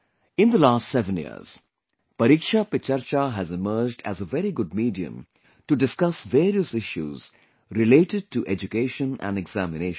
In the last 7 years, 'Pariksha Pe Charcha' has emerged as a very good medium to discuss various issues related to education and examinations